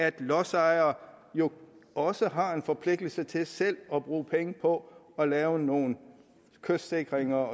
at lodsejere jo også har en forpligtelse til selv at bruge penge på at lave nogle kystsikringer